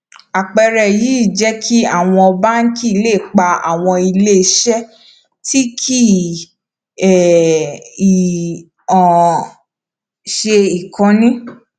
àpẹẹrẹ yìí jẹ kí àwọn báńkì lè pa àwọn ilé iṣẹ tí kì um í um ṣe ìkànnì